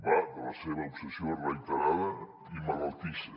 va de la seva obsessió reiterada i malaltissa